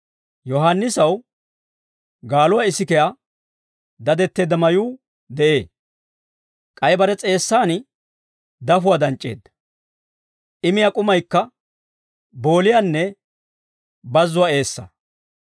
Yohaannisaw gaaluwaa isikiyaa dadetteedda mayuu de'ee; k'ay bare s'eessan dafuwaa danc'c'eedda; I miyaa k'umaykka booliyaanne bazzuwaa eessaa.